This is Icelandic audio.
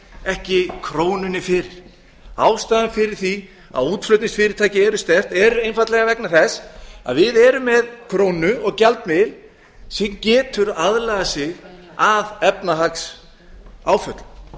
ekki krónunni fyrir ástæðan fyrir því að útflutningsfyrirtækin eru sterk eru einfaldlega vegna þess að við erum með krónu og gjaldmiðil sem getur aðlagað sig að efnahagsáföllum við